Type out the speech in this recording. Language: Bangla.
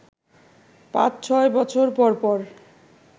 পাঁচ-ছয় বছর পর পর